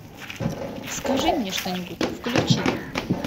скажи мне что нибудь включи